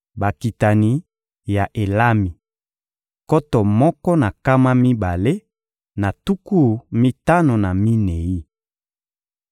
Bakitani ya Elami: nkoto moko na nkama mibale na tuku mitano na minei.